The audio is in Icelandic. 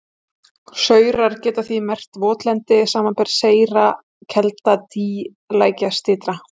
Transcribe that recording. Saurar geta því merkt votlendi, samanber seyra kelda, dý, lækjarsytra.